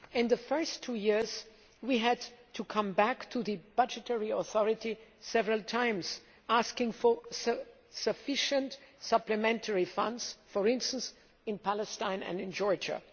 In the first two years, we had to come back to the budgetary authority several times, asking for sufficient supplementary funds, for instance, for Palestine and Georgia.